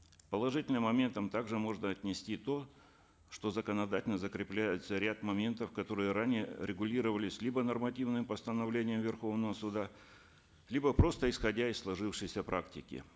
к положительным моментам также можно отнести то что законодательно закрепляется ряд моментов которые ранее регулировались либо нормативными постановлениями верховного суда либо просто исходя из сложившейся практики